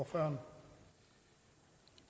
for